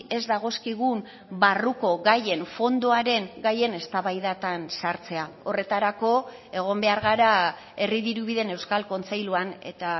ez dagozkigun barruko gaien fondoaren gaien eztabaidatan sartzea horretarako egon behar gara herri dirubideen euskal kontseiluan eta